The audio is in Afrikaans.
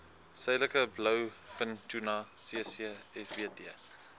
suidelike blouvintuna ccsbt